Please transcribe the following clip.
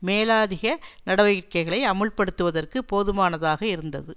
மேலாதிக நடவடிக்கைகளை அமுல்படுத்துவதற்கு போதுமானதாக இருந்தது